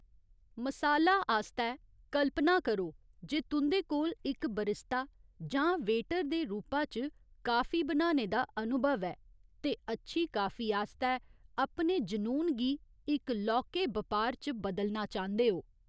मसाला आस्तै, कल्पना करो जे तुं'दे कोल इक बरिस्ता जां वेटर दे रूपा च काफी बनाने दा अनुभव ऐ ते अच्छी काफी आस्तै अपने जुनून गी इक लौह्‌‌‌के बपार च बदलना चांह्‌‌‌दे ओ।